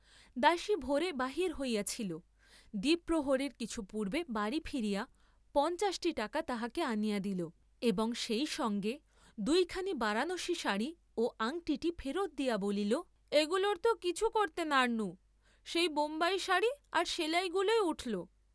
দাসী ভোরে বাহির হইয়াছিল দ্বিপ্রহরের কিছু পূর্ব্বে বাড়ী ফিরিয়া পঞ্চাশটি টাকা তাহাকে আনিয়া দিল, এবং সেই সঙ্গে দুইখানি বারাণসী সাড়ী ও আংটিটী ফেরত দিয়া বলিল, এগুলোর ত কিছু করতে নারনু, সেই বোম্বাই সাড়ী আর সেলাইগুলােই উঠলো।